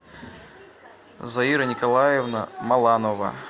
заира николаевна маланова